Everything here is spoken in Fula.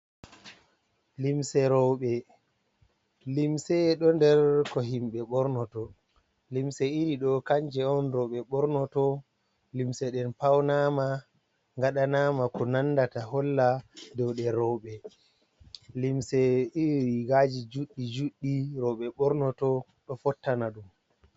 Limse roɓe, limse ɗo nder ko himɓe ɓorno to, limse iri ɗo kanje on rowɓe ɓornoto, limse ɗen paunama gaɗanama ko nandata holla dow je rewɓe, limse iri rigaji juɗɗi juɗɗi rowɓe ɓornoto ɗo fottana ɗum.